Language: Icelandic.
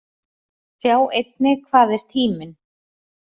Sjá einnig: Hvað er tíminn?